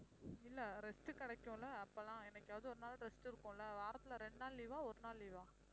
இல்ல rest கிடைக்கும்ல அப்பலாம் என்னைக்காவது ஒரு நாள் rest இருக்கும்ல வாரத்தில இரண்டு நாள் leave ஆ ஒரு நாள் leave ஆ